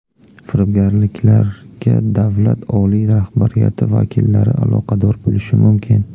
Firibgarliklarga davlat oliy rahbariyati vakillari aloqador bo‘lishi mumkin.